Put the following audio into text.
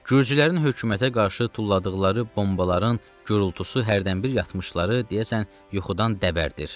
Gürcülərin hökumətə qarşı tulladıqları bombaların gurultusu hərdənbir yatmışları deyəsən yuxudan dəbərdir.